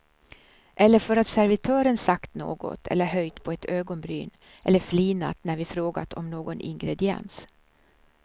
Eller för att servitören sagt något eller höjt på ett ögonbryn eller flinat när vi frågat om någon ingrediens.